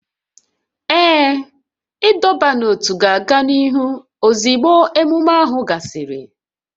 Ee, ịdọba n'ótú ga-aga n'ihu ozugbo ememe ahụ gasịrị